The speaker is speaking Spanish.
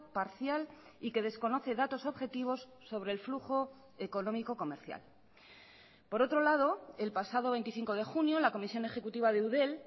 parcial y que desconoce datos objetivos sobre el flujo económico comercial por otro lado el pasado veinticinco de junio la comisión ejecutiva de eudel